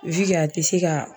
wi ke a te se ka